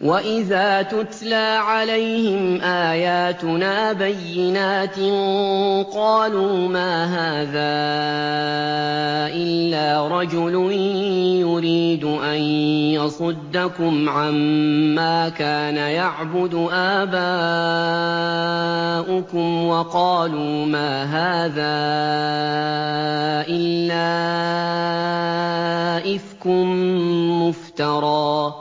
وَإِذَا تُتْلَىٰ عَلَيْهِمْ آيَاتُنَا بَيِّنَاتٍ قَالُوا مَا هَٰذَا إِلَّا رَجُلٌ يُرِيدُ أَن يَصُدَّكُمْ عَمَّا كَانَ يَعْبُدُ آبَاؤُكُمْ وَقَالُوا مَا هَٰذَا إِلَّا إِفْكٌ مُّفْتَرًى ۚ